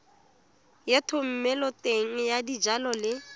ya thomeloteng ya dijalo le